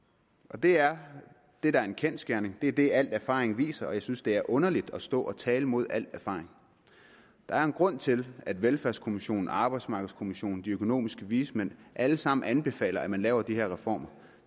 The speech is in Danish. det er det der er en kendsgerning det er det al erfaring viser og jeg synes at det er underligt at stå og tale imod al erfaring der er en grund til at velfærdskommissionen arbejdsmarkedskommissionen de økonomiske vismænd alle sammen anbefaler at man laver de her reformer